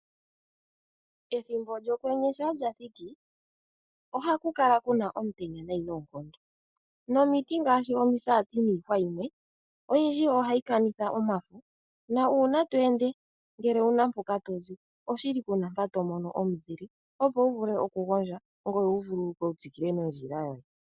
Ethimbo lyokwenye ngele lyathiki, ohaku kala kuna omutenya noonkondo. Nomiti ngaashi omisati niihwa yimwe oyindji ohayi kanitha omafo. Uuna tweende ngele owuna mpoka tozi oshili kuna mpa tomono omuzile opo wuvule okugondja ngoye wuvulukwe wutsikile nondjila yoye.